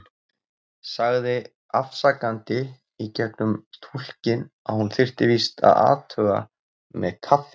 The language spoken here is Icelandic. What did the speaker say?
Sagði afsakandi í gegnum túlkinn að hún þyrfti víst að athuga með kaffið.